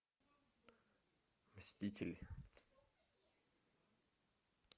мститель